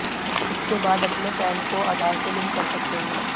इसके बाद अपने पैन को आधार से लिंक कर सकते हैं